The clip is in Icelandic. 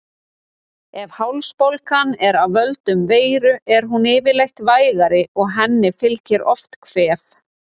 Ef hálsbólgan er af völdum veiru er hún yfirleitt vægari og henni fylgir oft kvef.